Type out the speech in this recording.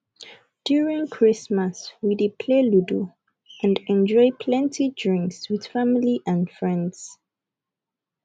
during christmas we dey play ludu and enjoy plenty drinks with family and friends